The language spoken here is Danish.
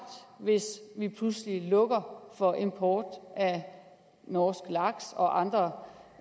hvis vi pludselig lukker for import af norsk laks og andre